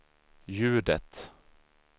ljudet